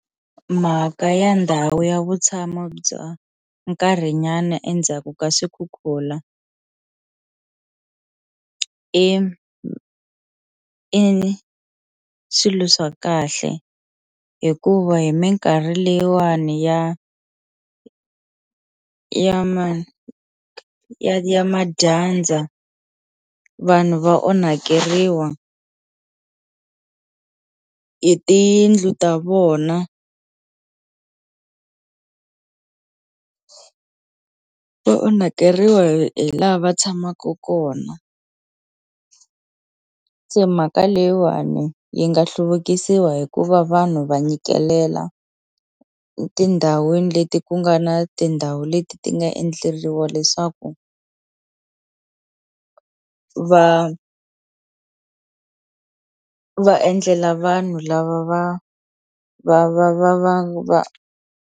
Mhaka ya ndhawu ya vutshamo bya nkarhinyana endzhaku ka swikhukhula i swilo swa kahle hikuva hi minkarhi leyiwani ya ya ya ya madyandza vanhu va onhakeriwa hi tiyindlu ta vona va onhakeriwa hi hi la va tshamaku kona se mhaka leyiwani yi nga hluvukisiwa hikuva vanhu va nyikelela etindhawini leti ku nga na tindhawu leti ti nga endleliwa leswaku va va endlela vanhu lava va va va va va va.